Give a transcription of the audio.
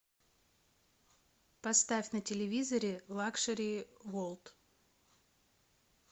поставь на телевизоре лакшери ворлд